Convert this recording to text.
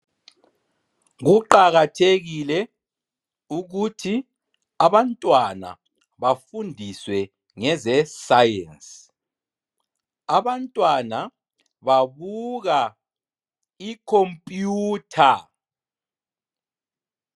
Kuqakathekile ukuthi abantwana bafundiswe ngezeScience. Abantwana babuka ikhomputha.